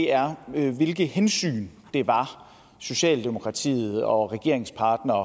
er hvilke hensyn det var socialdemokratiet og regeringspartnerne